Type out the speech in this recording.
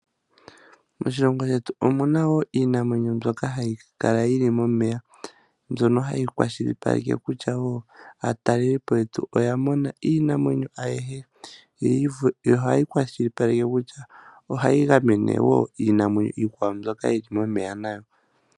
Moshilongo shetu omuna wo iinamwenyo mbyoka hayi kala yili momeya, mbyono hayi kwashilipaleke kutya wo aatalelipo yetu oyamona iinamwenyo ayihe, yo ohayi kwashilipaleke kutya ohayi gamene wo iinamwenyo iikwawo mbyoka yili momeya nayo.